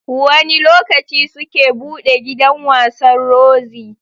Wanne lokaci suke buɗe gidan wasan Roxy?